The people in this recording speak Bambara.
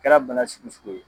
Kɛra bana sugsu o sugu ye.